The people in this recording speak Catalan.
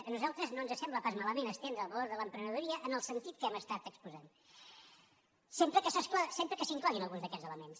a nosaltres no ens sembla pas malament estendre el valor de l’emprenedoria en el sentit que hem exposat sempre que s’hi incloguin alguns d’aquests elements